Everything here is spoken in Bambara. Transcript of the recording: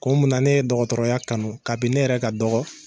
Kun min na ne ye dɔgɔtɔrɔya kanu kabini ne yɛrɛ ka dɔgɔ